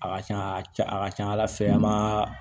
A ka ca a ka ca ala fɛ an b'a